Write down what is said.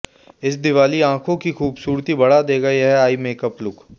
इस दिवाली आंखों की खूबसूरती बढ़ा देगा यह आईमेकअप लुक